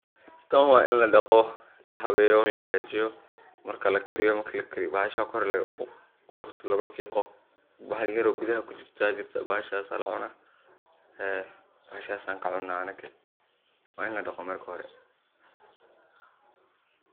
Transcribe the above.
Tan waa in ladaqo, lahabeeyo, lahagaajiyo, marki lakariyo bahasha kor qolofta looga fiiqo bahal yar oo gudaha kujirta jirto bahashas la cuna ee bahashas aan ka cuna anaga waa in ladaqo marka hore.